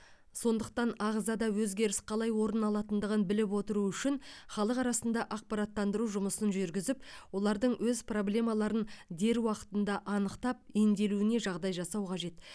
сондықтан ағзада өзгеріс қалай орын алатындығын біліп отыру үшін халық арасында ақпараттандыру жұмысын жүргізіп олардың өз проблемаларын дер уақытында анықтап емделуіне жағдай жасау қажет